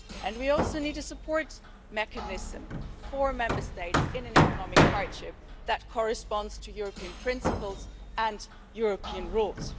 We also need a support mechanism for Member States in economic hardship that fits with European principles and European rules.